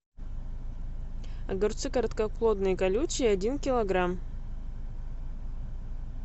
огурцы короткоплодные колючие один килограмм